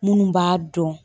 Munnu b'a dɔn